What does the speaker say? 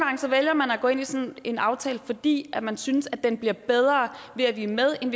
vælger man at gå ind i sådan en aftale fordi man synes den bliver bedre ved at vi er med end